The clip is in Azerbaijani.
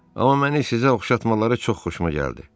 Amma məni sizə oxşatmaları çox xoşuma gəldi.